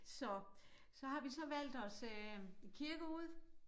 Så så har vi så valgt os øh en kirke ud